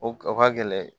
O o ka gɛlɛn